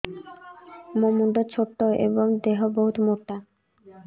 ମୋ ମୁଣ୍ଡ ଛୋଟ ଏଵଂ ଦେହ ବହୁତ ମୋଟା